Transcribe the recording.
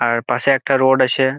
আর পাশে একটা রোড আছে।